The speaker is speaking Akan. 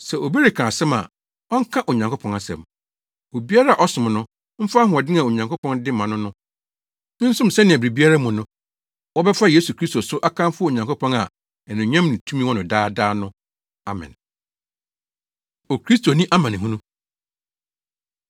Sɛ obi reka asɛm a, ɔnka Onyankopɔn asɛm. Obiara a ɔsom no, mfa ahoɔden a Onyankopɔn de ma no no nsom sɛnea biribiara mu no, wɔbɛfa Yesu Kristo so akamfo Onyankopɔn a anuonyam ne tumi wɔ no daadaa no. Amen. Okristoni Amanehunu